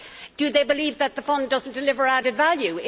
Do they believe that the Fund does not deliver added value?